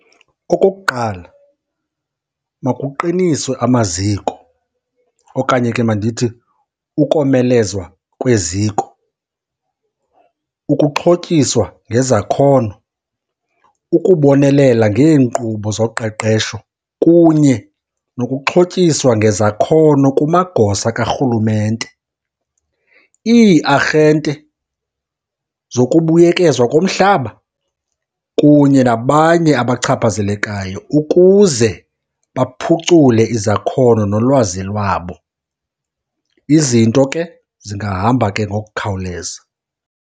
Okokuqala, makuqiniswe amaziko okanye ke mandithi, ukomelezwa kweziko. Ukuxhotyiswa ngezakhono, ukubonelela ngeenkqubo zoqeqesho kunye nokuxhotyiswa ngezakhono kumagosa karhulumente, iiarhente zokubuyekezwa komhlaba kunye nabanye abachaphazelekayo ukuze baphucule izakhono nolwazi lwabo. Izinto ke zingahamba ke ngokukhawuleza.